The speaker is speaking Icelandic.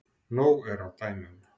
Nóg er af dæmum.